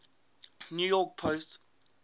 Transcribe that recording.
new york post